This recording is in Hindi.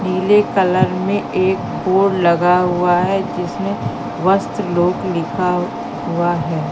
नीले कलर में एक बोर्ड लगा हुआ है जिसमें वस्त्र लोक लिखा हुआ है।